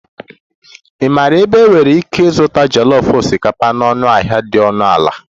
Ị maara ebe m nwere ike ịzụta jollof osikapa na ọnụahịa dị ọnụ ala?